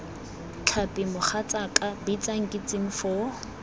tlhapi mogatsaaka bitsa nkitsing foo